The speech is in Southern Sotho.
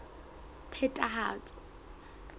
phethahatso